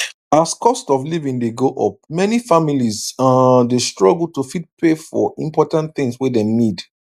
as cost of living dey go up many families um dey struggle to fit pay for important things wey dem need